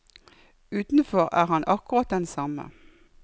Utenfor er han akkurat den samme.